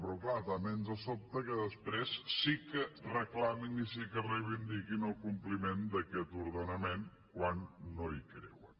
però clar també ens sobta que després sí que reclamin i sí que reivindiquin el compliment d’aquest ordenament quan no hi creuen